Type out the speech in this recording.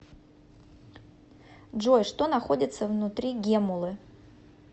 джой что находится внутри геммулы